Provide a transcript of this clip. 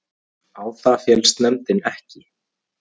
Á það féllst nefndin ekki